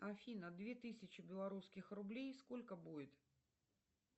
афина две тысячи белорусских рублей сколько будет